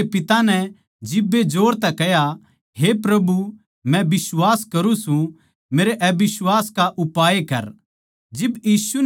बाळक कै पिता नै जिब्बे जोर तै कह्या हे प्रभु मै बिश्वास करूँ सूं मेरै अबिश्वास का उपाय कर